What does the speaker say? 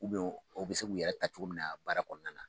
u bɛ se k'u yɛrɛ ta cogo min na baara kɔnɔna na